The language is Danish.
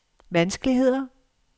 vanskeligheder